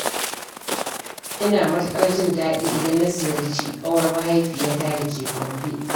Ina matuƙar jin daɗi idan na ziyarci ƙawar mahaifiyata da ke Gombe